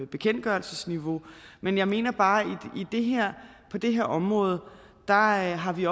bekendtgørelsesniveau men jeg mener bare at på det her område har har vi